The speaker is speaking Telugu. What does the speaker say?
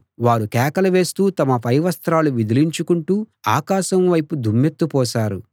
వారు కేకలు వేస్తూ తమ పై వస్త్రాలు విదిలించుకుంటూ ఆకాశం వైపు దుమ్మెత్తి పోశారు